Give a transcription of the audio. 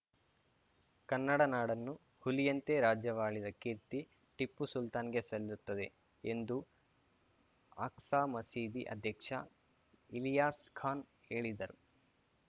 ಕನ್ನಡ ನಾಡನ್ನು ಹುಲಿಯಂತೆ ರಾಜ್ಯವಾಳಿದ ಕೀರ್ತಿ ಟಿಪ್ಪು ಸುಲ್ತಾನ್‌ಗೆ ಸಲ್ಲುತ್ತದೆ ಎಂದು ಆಖ್ಸಾ ಮಸೀದಿ ಅಧ್ಯಕ್ಷ ಇಲಿಯಾಸ್‌ ಖಾನ್‌ ಹೇಳಿದರು